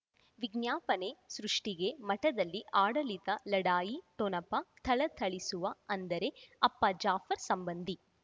ವಿಜ್ಞಾಪನೆ ಸೃಷ್ಟಿಗೆ ಮಠದಲ್ಲಿ ಆಡಳಿತ ಲಢಾಯಿ ಠೊಣಪ ಥಳಥಳಿಸುವ ಅಂದರೆ ಅಪ್ಪ ಜಾಫರ್ ಸಂಬಂಧಿ